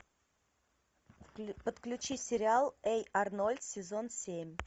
подключи сериал эй арнольд сезон семь